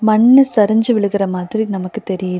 மண்ணு சரிஞ்சு விழுகிற மாதிரி நமக்கு தெரியிது.